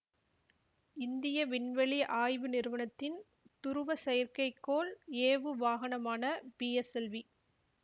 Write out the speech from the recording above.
இந்திய விண்வெளி ஆய்வு நிறுவனத்தின் துருவ செயற்கைக்கோள் ஏவுவாகனமான பிஎஸ்எல்வி